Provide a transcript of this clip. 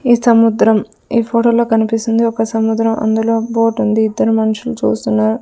ఈ సముద్రం ఈ ఫొటో లో కనిపిస్తుంది ఒక సముద్రం అందులో బోటుంది ఇద్దరు మనుషులు చూస్తున్నారు.